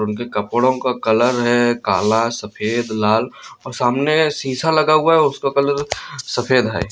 उनके कपड़ो का कलर है काला सफेद लाल और सामने शीशा लगा हुआ है उसका कलर सफेद है।